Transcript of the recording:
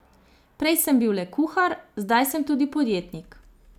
Prej sem bil le kuhar, zdaj sem tudi podjetnik.